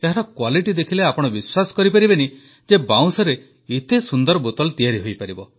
ଏହାର କ୍ୱାଲିଟି ଦେଖିଲେ ଆପଣ ବିଶ୍ୱାସ କରିପାରିବେ ନାହିଁ ଯେ ବାଉଁଶରେ ଏତେ ସୁନ୍ଦର ବୋତଲ ତିଆରି ହୋଇପାରିବ